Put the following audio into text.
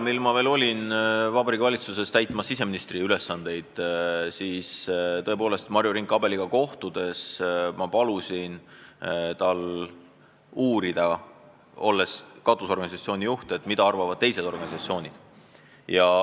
Kui ma Vabariigi Valitsuses siseministri ülesandeid täitsin, siis palusin Marju Rink-Abeliga kohtudes temal kui katusorganisatsiooni juhil uurida, mida arvavad teised organisatsioonid.